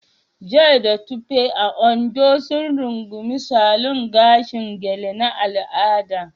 Joy da Tope, a Ondo, sun rungumi salon gashin gele na al'ada